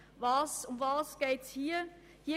Worum geht es hier?